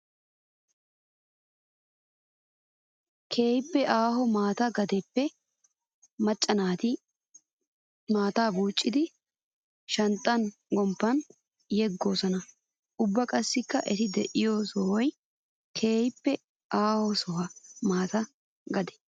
Keehippe aaho maata gadeppe maca naata maataa bucciddi shanxxa gomppan yeggosonna. Ubba qassikka etti de'iyo sohoy keehippe aaho soho maata gadee.